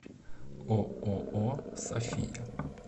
ооо софия